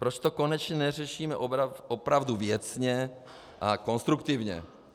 Proč to konečně neřešíme opravdu věcně a konstruktivně?